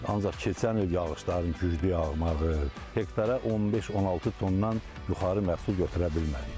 Ancaq keçən il yağışların güclü yağmağı, hektara 15-16 tondan yuxarı məhsul götürə bilmədik.